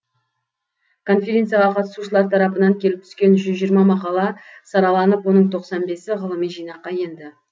конференцияға қатысушылар тарапынан келіп түскен жүз жиырма мақала сараланып оның тоқсан бесі ғылыми жинаққа енді